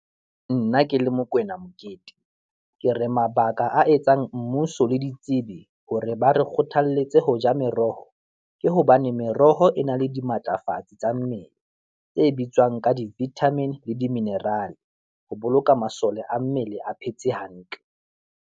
Nna ke le Mokoena Mokete, ke re mabaka a etsang mmuso le ditsebi hore ba re kgothalletse ho ja meroho, ke hobane meroho e na le dimatlafatsi tsa mmele tse bitswang ka di-vitamin le di-mineral ho boloka masole a mmele a phetse hantle.